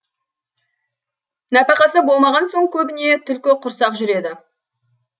нәпақасы болмаған соң көбіне түлкі құрсақ жүреді